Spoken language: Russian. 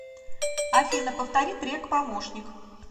афина повтори трек помощник